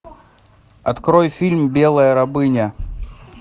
открой фильм белая рабыня